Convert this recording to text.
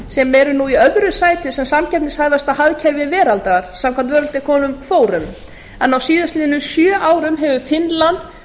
sem eru í öðru sæti sem samkeppnishæfasta hagkerfi veraldar samkvæmt forum en á síðastliðnum sjö árum hefur finnland verið fimm